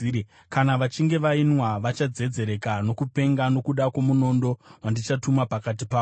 Kana vachinge vainwa vachadzedzereka nokupenga nokuda kwomunondo wandichatuma pakati pavo.”